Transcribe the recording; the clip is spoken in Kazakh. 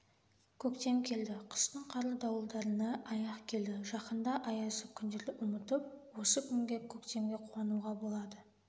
көктем келді қыстың қарлы дауылдарына аяқ келді жақында аязды күндерді ұмытып осы күнгі көктемге қуануға болады